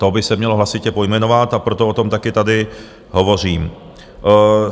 To by se mělo hlasitě pojmenovat, a proto o tom taky tady hovořím.